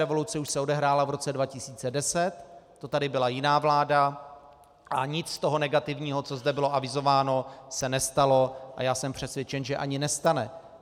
Revoluce už se odehrála v roce 2010, to tady byla jiná vláda, a nic z toho negativního, co zde bylo avizováno, se nestalo a já jsem přesvědčen, že ani nestane.